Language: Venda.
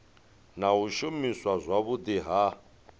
na u shumiswa zwavhudi ha